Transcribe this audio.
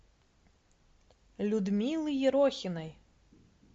людмилы ерохиной